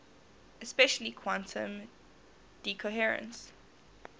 especially quantum decoherence